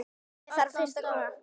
Ég þarf fyrst að koma